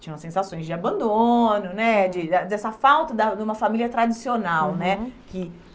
Tinham as sensações de abandono né, de ah dessa falta da de uma família tradicional né, uhum, que.